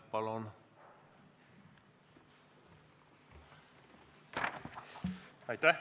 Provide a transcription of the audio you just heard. Palun!